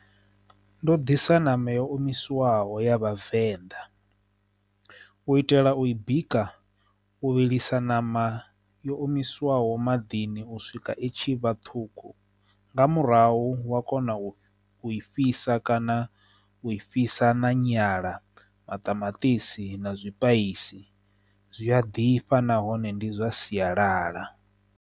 Ndo ḓisa ṋama yo omisiwaho ya vhavenḓa u itela u i bika u vhilisa ṋama yo omisiwaho maḓini u swika itshi vhathu ṱhukhu nga murahu wa kona u i fhisa kana u i fhisa na nyala maṱamaṱisi na zwipaisisi zwi a ḓifha nahone ndi zwa sialala.